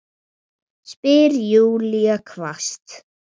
spyr Júlía hvasst.